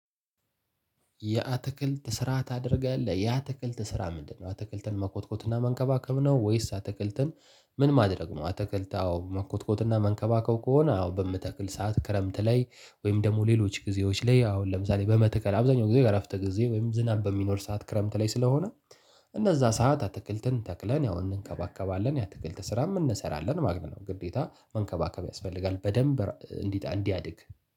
የአትክልት ስራ ታደርጋለህ የአትክልት ስራ ምንድነው? አትክልትን መኮትኮትና መንከባከብ ነው ወይስ አተክልትን ምን ማድረግ ነው? አተክልት አዎ መኮትኮትና መንከባከብ ከሆነ አዎ በምተክል ሰዓት ክረምት ላይ ወይም ደግሞ ሌሎች ጊዜዎች ላይ አሁን ለምሳሌ በመተከል አብዛኛውን ጊዜ የእረፍተ ጊዜ ወይም ዝናብ በሚኖር ሰዓት ክረምት ላይ ስለሆነ እነዛ ሰዓት አትክልትን ተክለን ያው እንንከባከባለን የአትክልት ስራም እንሰራለን ማለት ነው። ግዴታ መንከባከብ ያስፈልጋል በደንብ እንዲ ያድግ